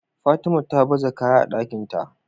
Fatima ta baza kaya a Ɗakinta